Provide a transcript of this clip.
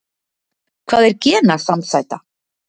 Hvað er genasamsæta?